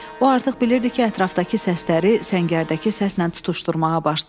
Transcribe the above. O artıq bilirdi ki, ətrafdakı səsləri səngərdəki səslə tutuşdurmağa başlayıb.